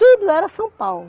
Tudo era São Paulo.